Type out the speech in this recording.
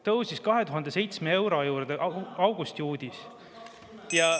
Tõusis 2007 euro juurde – uudis augustist.